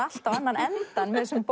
allt á annan endann með þessum